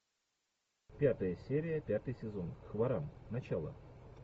пятая серия пятый сезон хваран начало